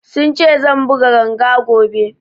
Sun ce zan buga ganga gobe